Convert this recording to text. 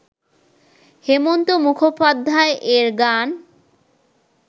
হেমন্ত মুখোপাধ্যায় এর গান